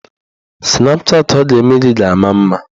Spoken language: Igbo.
Snapchatị ọ ga-eme ga-ama mma.